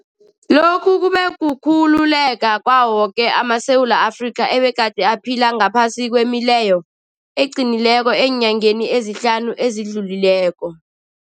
Lokhu kube kukhululeka kwawo woke amaSewula Afrika egade aphila ngaphasi kwemileyo eqinileko eenyangeni ezihlanu ezidlulileko.